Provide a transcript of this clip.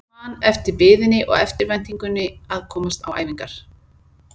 Ég man eftir biðinni og eftirvæntingunni að komast á æfingar.